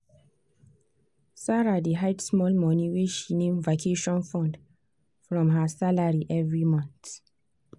that freelancer wey reject the small pay later come reason am say she no do mistake.